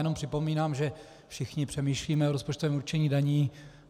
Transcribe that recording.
Jenom připomínám, že všichni přemýšlíme o rozpočtovém určení daní.